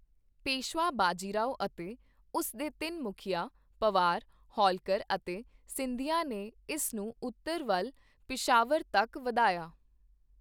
ਪੇਸ਼ਵਾ ਬਾਜੀਰਾਓ ਅਤੇ ਉਸ ਦੇ ਤਿੰਨ ਮੁਖੀਆਂ, ਪਵਾਰ, ਹੋਲਕਰ ਅਤੇ ਸਿੰਧੀਆ ਨੇ ਇਸ ਨੂੰ ਉੱਤਰ ਵੱਲ ਪਿਸ਼ਾਵਰ ਤੱਕ ਵਧਾਇਆ।